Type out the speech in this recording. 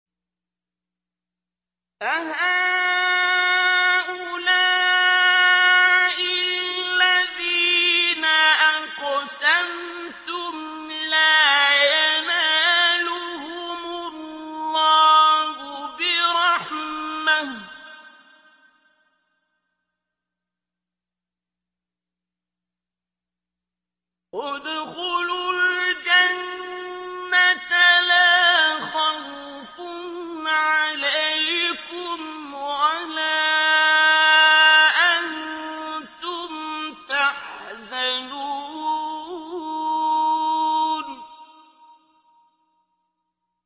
أَهَٰؤُلَاءِ الَّذِينَ أَقْسَمْتُمْ لَا يَنَالُهُمُ اللَّهُ بِرَحْمَةٍ ۚ ادْخُلُوا الْجَنَّةَ لَا خَوْفٌ عَلَيْكُمْ وَلَا أَنتُمْ تَحْزَنُونَ